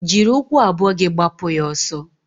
Jiri ụkwụ abụọ gị gbapụ ya ọsọ!